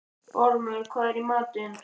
Ormur, hvað er í matinn?